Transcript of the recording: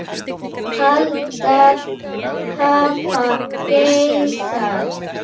Eldar hafa geisað